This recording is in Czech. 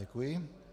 Děkuji.